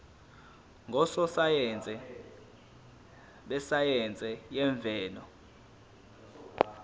ngososayense besayense yemvelo